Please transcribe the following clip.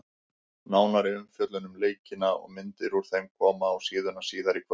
Nánari umfjöllun um leikina og myndir úr þeim koma á síðuna síðar í kvöld.